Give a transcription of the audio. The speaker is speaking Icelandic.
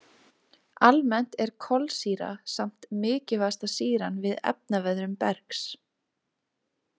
Almennt er „kolsýra“ samt mikilvægasta sýran við efnaveðrun bergs.